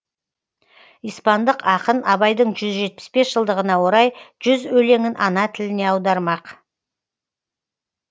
испандық ақын абайдың жүз жетпіс бес жылдығына орай жүз өлеңін ана тіліне аудармақ